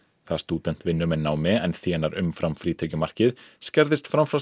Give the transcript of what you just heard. þegar stúdent vinnur með námi en þénar umfram frítekjumarkið skerðist framfærsla